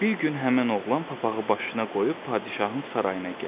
Bir gün həmin oğlan papağı başına qoyub padşahın sarayına gəlir.